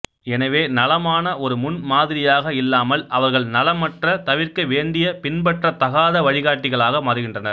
எனவே நலமான ஒரு முன்மாதிரியாக இல்லாமல் அவர்கள் நலமற்ற தவிர்க்க வேண்டிய பின்பற்றத் தகாத வழிகாட்டிகளாக மாறுகின்றனர்